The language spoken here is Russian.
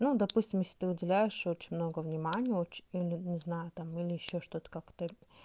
допустим если ты выделяешь очень много внимания не знаю там или ещё что-то как-то